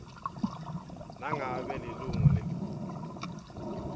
nangabe lilunga lelikhulu